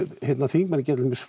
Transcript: þingmenn geta til dæmis